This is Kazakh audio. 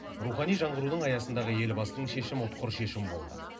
рухани жаңғырудың аясындағы елбасының шешімі ұтқыр шешім болды